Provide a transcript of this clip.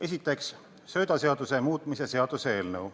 Esiteks, söödaseaduse muutmise seaduse eelnõu.